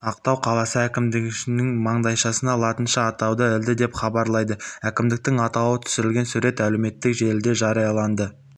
ақтау қаласы әкімдігі маңдайшасына латынша атауды ілді деп хабарлайды әкімдіктің атауы түсірілген сурет әлеуметтік желіде жарияланды